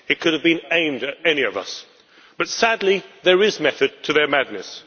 It could have been aimed at any of us but, sadly, there is method to their madness.